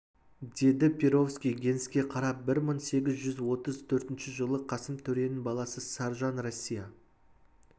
деді перовский генске қарап бір мың сегіз жүз отыз төртінші жылы қасым төренің баласы саржан россия